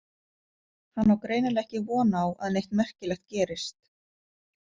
Hann á greinilega ekki von á að neitt merkilegt gerist.